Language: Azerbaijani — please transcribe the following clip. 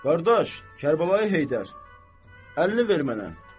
Qardaş Kərbəlayı Heydər, əlini ver mənə.